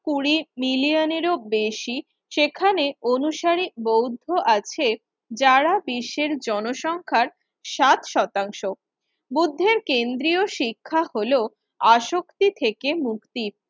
কুড়ি মিলিয়নেরও বেশি সেখানে অনুসারি বৌদ্ধ আছে। যারা দেশের জনসংখ্যার সাত শতাংশ, বুদ্ধের কেন্দ্রীয় শিক্ষা হল আসক্তি থেকে মুক্তি